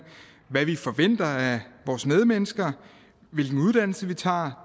hvad vi forventer af vores medmennesker hvilke uddannelser vi tager